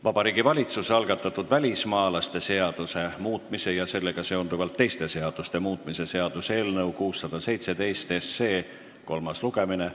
Vabariigi Valitsuse algatatud välismaalaste seaduse muutmise ja sellega seonduvalt teiste seaduste muutmise seaduse eelnõu 617 kolmas lugemine.